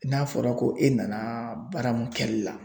N'a fɔra ko e nana baara mun kɛli la.